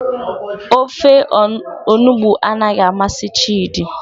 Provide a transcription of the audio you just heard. Ofe onugbu anaghị amasị chidi.